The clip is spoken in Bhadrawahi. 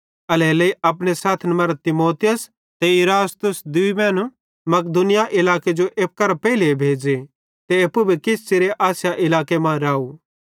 एल्हेरेलेइ अपने सैथन मरां तीमुथियुस ते इरास्तुस दूई मैनू मकिदुनिया इलाके जो एप्पू करां पेइले भेज़े ते एप्पू भी किछ च़िरे आसिया इलाके मां राव